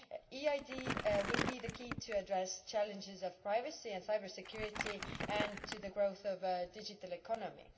E ID will be the key to address challenges of privacy and cyber security and to the growth of digital economy.